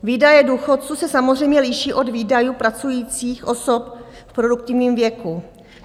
Výdaje důchodců se samozřejmě liší od výdajů pracujících osob v produktivním věku.